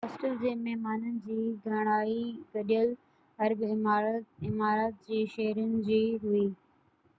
hostel جي مهمانن جي گهڻائي گڏيل عرب امارات جي شهرين جي هئي